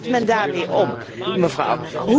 Hoe gaat men daarmee om, mevrouw?